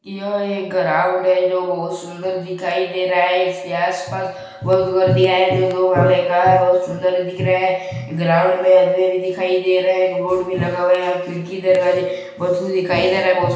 यह एक गराउंड है जो बहोत सुंदर दिखाई दे रहा है इस के आस-पास बहुत गार्दिया है बहुत सुंदर दिख रहा है ग्राउंड में पेड़ दिखाई दे रहा है बोर्ड भी लगा है यहाँ खिड़की दरवाज़े दिखाई दे रही है।